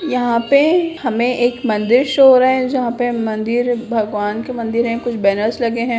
यहाँ पे हमें एक मंदिर शो हो रहा है जहाँ पे मंदिर भगवान के मंदिर हैं | कुछ बैनर्स लगे हैं।